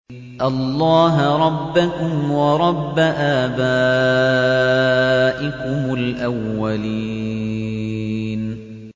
اللَّهَ رَبَّكُمْ وَرَبَّ آبَائِكُمُ الْأَوَّلِينَ